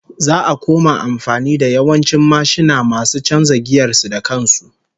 Za'a koma amfani da yawancin mashina masu chanza giyar su da kan su